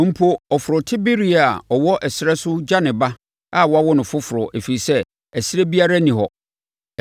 Mpo ɔforotebereɛ a ɔwɔ ɛserɛ so gya ne ba a wawo no foforɔ ɛfiri sɛ ɛserɛ biara nni hɔ.